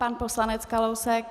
Pan poslanec Kalousek.